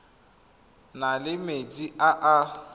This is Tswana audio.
na le metsi a a